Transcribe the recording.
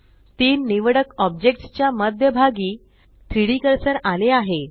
तीन निवडक ऑब्जेक्ट्स च्या मध्य भागी 3Dकर्सर आले आहे